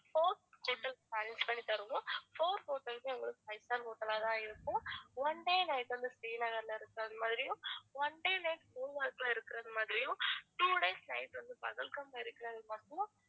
four hotels arrange பண்ணித்தருவோம் four hotels உமே உங்களுக்கு five star hotel ஆ தான் இருக்கும் one day night வந்து ஸ்ரீநகர்ல இருக்கிறது மாதிரியும் one day night குல்மார்க்ல இருக்கிறது மாதிரியும் two days night வந்து பகல்காம்ல இருக்கிறது மாதிரியும்